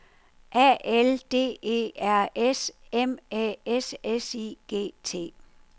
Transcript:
A L D E R S M Æ S S I G T